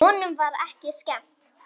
Honum var ekki skemmt.